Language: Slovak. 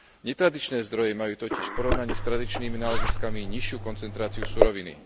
Netradičné zdroje majú totiž v porovnaní s tradičnými náleziskami nižšiu koncentráciu suroviny.